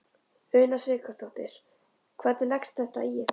Una Sighvatsdóttir: Hvernig leggst þetta í ykkur?